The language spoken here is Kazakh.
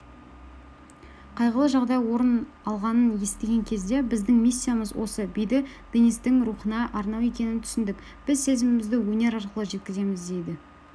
қайғылы жағдай орын алғанын естіген кезде біздің миссиямыз осы биді денистің рухына арнау екенін түсіндік біз сезімімізді өнер арқылы жеткіземіз дейді